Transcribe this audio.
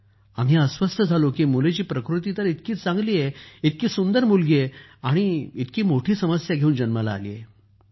आम्ही अस्वस्थ झालो की मुलीची प्रकृती तर इतकी चांगली आहे इतकी सुंदर मुलगी आहे आणि इतकी मोठी समस्या घेऊन जन्माला आली आहे